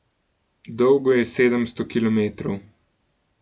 Dolgo je sedemsto kilometrov.